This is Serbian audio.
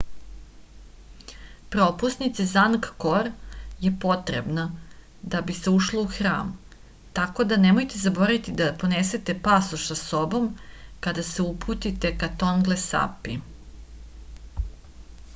propusnica za angkor je potrebna da bi se ušlo u hram tako da nemojte zaboraviti da ponesete pasoš sa sobom kada se uputite ka tonle sapi